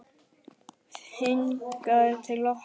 Hingað til okkar?